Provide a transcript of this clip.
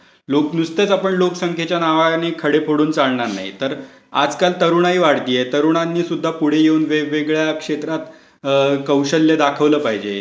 लोक नुसतेच आपण लोकसंख्येच्या नावाने खडे फोडून चालणार नाही. तर आजकाल तरुणाई वाढतेय तर तरुणांनी सुद्धा पुढे येऊन वेगवेगळ्या क्षेत्रात कौशल्य दाखवलं पाहिजे.